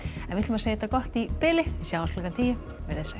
en við segjum þetta gott í bili sjáumst klukkan tíu veriði sæl